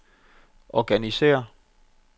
organisér